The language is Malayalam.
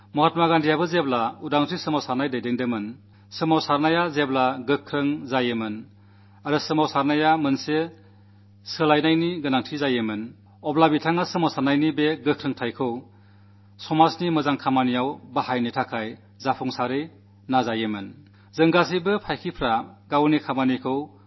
മഹാത്മാ ഗാന്ധിയും സ്വാതന്ത്ര്യത്തിനുവേണ്ടി സമരം നയിക്കവെ സമരം ശക്തമായി നടക്കുമ്പോൾ സമരത്തിന് ഒരു പടി മുന്നേറ്റം വേണമെന്നു തോന്നിയാൽ ആ ശക്തിയെ സമൂഹത്തിൽ സൃഷ്ടിപരമായ കാര്യങ്ങളിലേക്ക് തിരിച്ചുവിടാൻ വളരെ ഫലപ്രദമായ രീതി അവലംബിച്ചിരുന്നു